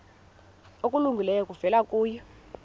okulungileyo kuvela kuye